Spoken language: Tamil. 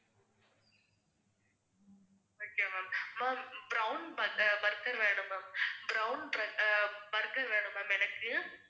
okay ma'am ma'am brown butter burger வேணும் ma'am brown br~ ah burger வேணும் ma'am எனக்கு.